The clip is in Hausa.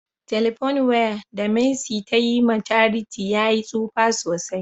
" telephone wire" da mercy ta Yi ma charity ya yi tsufa sosai.